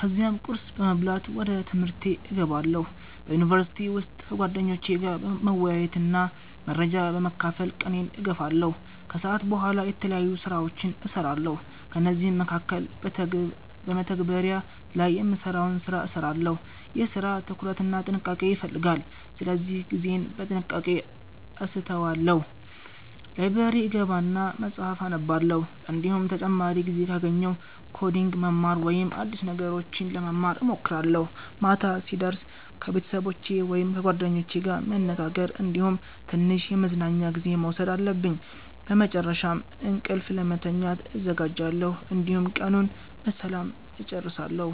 ከዚያም ቁርስ በመብላት ወደ ትምህርቴ እገባለሁ። በዩኒቨርሲቲ ውስጥ ከጓደኞቼ ጋር መወያየትና መረጃ በመካፈል ቀኔን እገፋለሁ። ከሰዓት በኋላ የተለያዩ ስራዎችን እሰራለሁ፤ ከእነዚህ መካከል በመተግበሪያ ላይ የምሰራውን ሰራ እሰራለሁ። ይህ ስራ ትኩረት እና ጥንቃቄ ይፈልጋል ስለዚህ ጊዜዬን በጥንቃቄ አሰተዋለሁ። ላይብረሪ እገባና መፀሀፍ አነባለሁ፤ እንዲሁም ተጨማሪ ጊዜ ካገኘሁ ኮዲንግ መማር ወይም አዲስ ነገሮች ለመማር እሞክራለሁ። ማታ ሲደርስ ከቤተሰቦቸ ወይም ከጓደኞቼ ጋር መነጋገር እንዲሁም ትንሽ የመዝናኛ ጊዜ መውሰድ አለብኝ። በመጨረሻም እንቅልፍ ለመተኛት እዘጋጃለሁ፣ እንዲሁም ቀኑን በሰላም እጨርሳለሁ።